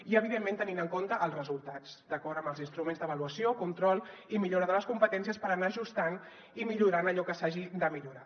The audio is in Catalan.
i evidentment tenint en compte els resultats d’acord amb els instruments d’avaluació control i millora de les competències per anar ajustant i millorant allò que s’hagi de millorar